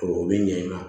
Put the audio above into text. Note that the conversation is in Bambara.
O bi ɲɛ in na